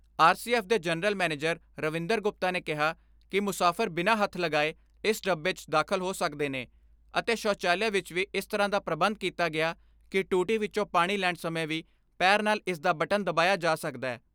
R C F ਦੇ general manager Ravinder Gupta ਨੇ ਕਿਹਾ ਕਿ ਮੁਸਾਫ਼ਰ ਬਿਨਾਂ ਹੱਥ ਲਗਾਏ ਇਸ ਡੱਬੇ 'ਚ ਦਾਖਲ ਹੋ ਸਕਦੇ ਨੇ ਅਤੇ ਸੋੁਚਾਲਿਆ ਵਿਚ ਵੀ ਇਸ ਤਰ੍ਹਾਂ ਦਾ ਪ੍ਰਬੰਧ ਕੀਤਾ ਗਿਆ ਕਿ ਟੂਟੀ ਵਿਚੋਂ ਪਾਣੀ ਲੈਣ ਸਮੇਂ ਵੀ ਪੈਰ ਨਾਲ ਇਸ ਦਾ ਬਟਨ ਦਬਾਇਆ ਜਾ ਸਕਦੈ।